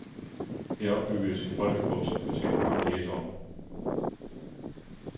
Her opbygges en folkebog, som fortjener mange læsere.